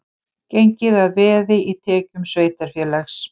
Gengið að veði í tekjum sveitarfélags